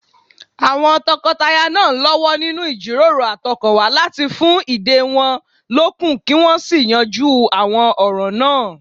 Àwọn tọkọtaya náà ń lọ́wọ́ nínú ìjíròrò àtọkànwá láti fún ìdè wọn lókun kí wọ́n sì yanjú àwọn ọ̀ràn náà